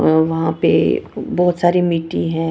अ वहा पे बहोत सारी मिट्टी है।